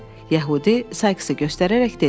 Yəhudi Sayksı göstərərək dedi: